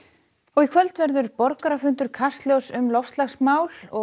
og í kvöld verður borgarafundur Kastljóss um loftslagsmál